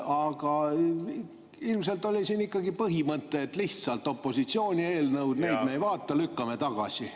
Aga ilmselt oli siin ikkagi põhimõte, et need on lihtsalt opositsiooni eelnõud, neid me ei vaata, lükkame tagasi.